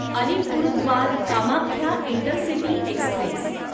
Alipurduar Kamakhya intercity Express